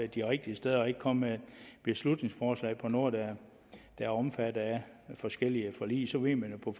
de rigtige steder og ikke komme med et beslutningsforslag om noget der er omfattet af forskellige forlig så ved man jo på